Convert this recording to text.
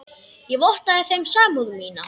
Ég vottaði þeim samúð mína.